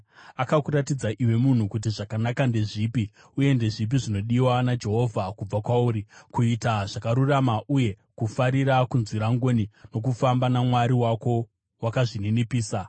Akakuratidza, iwe munhu, kuti zvakanaka ndezvipi. Uye ndezvipi zvinodiwa naJehovha kubva kwauri? Kuita zvakarurama uye kufarira kunzwira ngoni, nokufamba naMwari wako wakazvininipisa.